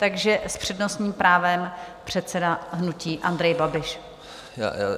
Takže s přednostním právem předseda hnutí Andrej Babiš.